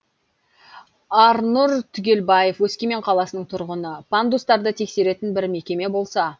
арнұр түгелбаев өскемен қаласының тұрғыны пандустарды тексеретін бір мекеме болса